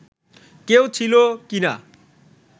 কেউ ছিল কি না